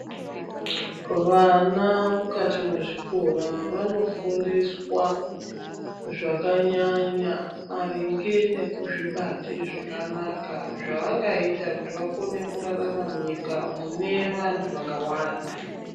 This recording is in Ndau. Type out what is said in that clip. Vana mukati mwezvikora vanofundiswa zvakanyanya maringe nekuzvibate zvakanaka zvavangaita kuti vakone kurarama munyika munevanhu vakawanda.